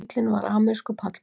Bíllinn var amerískur pallbíll